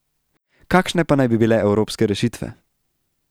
Kakšne pa naj bi bile evropske rešitve?